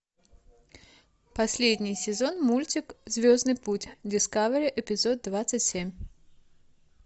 последний сезон мультик звездный путь дискавери эпизод двадцать семь